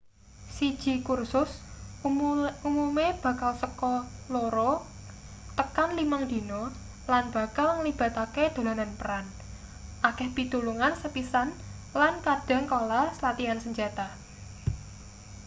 siji kursus umume bakal seka 2-5 dina lan bakal nglibatake dolanan peran akeh pitulungan sepisan lan kadhang kala latian senjata